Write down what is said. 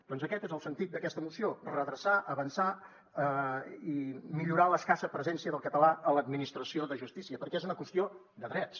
doncs aquest és el sentit d’aquesta moció redreçar avançar i millorar l’escassa presència del català a l’administració de justícia perquè és una qüestió de drets